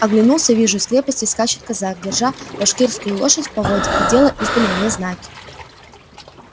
оглянулся вижу из крепости скачет казак держа башкирскую лошадь в поводья и делая издали мне знаки